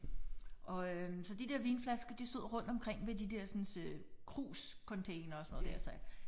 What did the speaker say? Og øh så de der vinflasker de stod rundt omkring ved de dersens øh krus containere og sådan noget der så